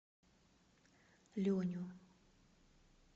леню